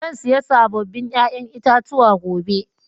Zan siya sabobin ƴa'ƴan itatuwa gobe.